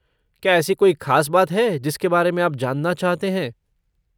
क्या ऐसी कोई खास बात है जिसके बारे में आप जानना चाहते हैं?